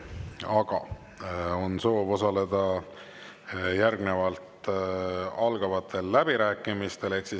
Aga on soov osaleda algavatel läbirääkimistel.